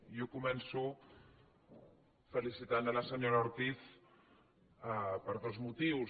jo començo felicitant la senyora ortiz per dos motius